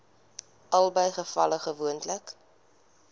albei gevalle gewoonlik